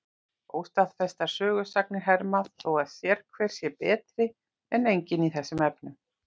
Óstaðfestar sögusagnir herma þó að sérhver sé betri en enginn í þessum efnum.